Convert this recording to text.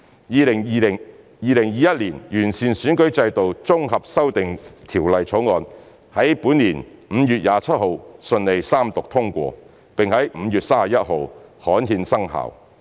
《2021年完善選舉制度條例草案》於本年5月27日順利三讀通過，並在5月31日刊憲生效。